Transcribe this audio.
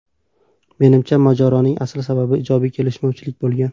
Menimcha, mojaroning asl sababi ijodiy kelishmovchilik bo‘lgan.